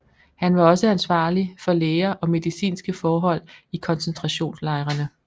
Han var også ansvarlig for læger og medicinske forhold i koncentrationslejrene